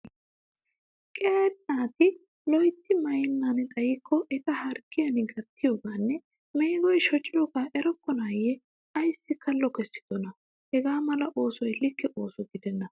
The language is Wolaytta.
Qeeri naati loyitti mayyennan xayikko eta harggiyan gattiyoogaanne meegoyi shociyoogaa erokkonaayye ayissi kallo kessidonaa? Hagga mala oosoy like ooso gidenna.